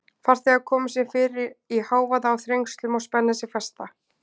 Farþegar koma sér fyrir í hávaða og þrengslum og spenna sig fasta.